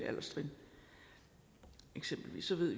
alderstrin eksempelvis så ved